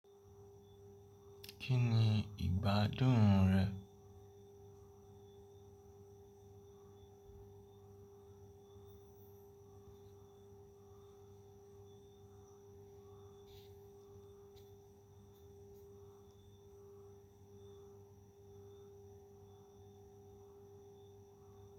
Kí ni ìgbádùn rẹ?